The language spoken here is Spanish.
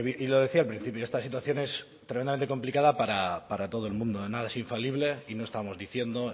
y lo decía al principio esta situación es tremendamente complicada para todo el mundo nada es infalible y no estamos diciendo